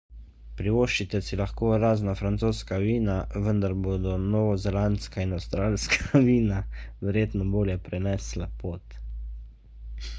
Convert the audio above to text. privoščite si lahko razna francoska vina vendar bodo novozelandska in avstralska vina verjetno bolje prenesla pot